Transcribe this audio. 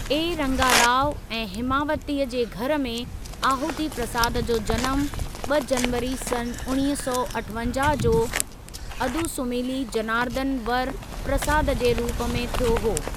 ए. रंगा राव ऐं हिमावती जे घरु में आहुति प्रसाद जो जनमु, ॿ जनवरी सन् उणिवीह सौ अठवंजाहु जो अदुसुमिली जनार्दन वर प्रसाद जे रूप में थियो हो।